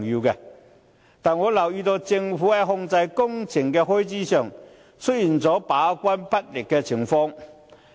但是，我留意到政府在控制工程開支方面，出現把關不力的情況。